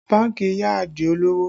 Bánkì yá Adio lowo